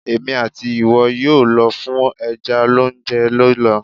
Èmi àti ìwọ yóò lọ fún ẹja lóúnjẹ lọ́la.